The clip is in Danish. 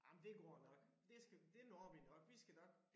Ej men det går nok det skal det når vi nok vi skal nok